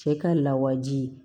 Cɛ ka lawaji